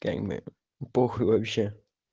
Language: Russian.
как бы похуй вообще